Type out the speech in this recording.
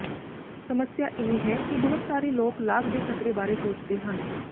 ਸਮੱਸਿਆ ਇਹ ਹੈ ਕਿ ਬਹੁਤ ਸਾਰੇ ਲੋਕ ਲਾਗ ਦੇ ਖ਼ਤਰੇ ਬਾਰੇ ਸੋਚਦੇ ਹਨ